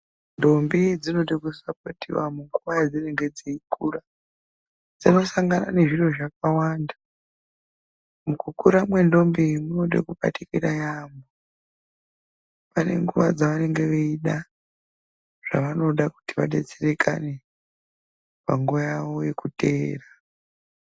Ndombi dzinoda kusapotiwa munguwa yedzinenge dzeikura, dzinosangana nezviro zvakawanda mukukura kwendombi munoda kubatikira yaemho pane nguwa dzevanenge veida zvavanoda kuti vadetserekane panguwa yavo yekuteera.